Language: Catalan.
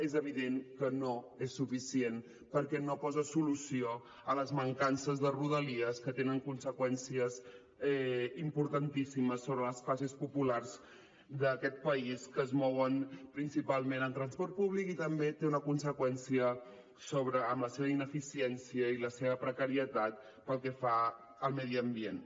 és evident que no és suficient perquè no posa solució a les mancances de rodalies que tenen conseqüències importantíssimes sobre les classes populars d’aquest país que es mouen principalment amb transport públic i també té una conseqüència amb la seva ineficiència i la seva precarietat pel que fa al medi ambient